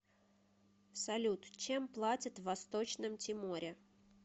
салют чем платят в восточном тиморе